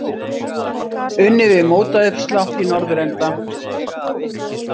Unnið við mótauppslátt í norðurenda.